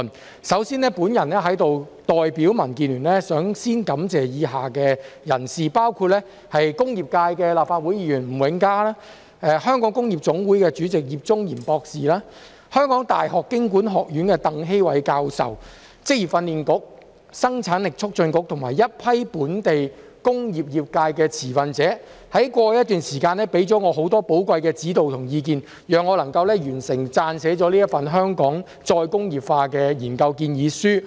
我首先代表民主建港協進聯盟感謝以下人士，包括工業界立法會議員吳永嘉、香港工業總會主席葉中賢博士、香港大學經濟及工商管理學院鄧希煒教授、職業訓練局、生產力促進局及一批本地工業界的持份者，在過去一段時間給我很多寶貴的指導及意見，讓我能完成撰寫這份"香港再工業化"的研究建議書。